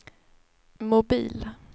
mobil